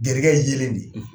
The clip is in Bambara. Jelikɛ ye yelen de ye,